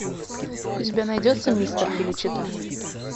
у тебя найдется мистер феличита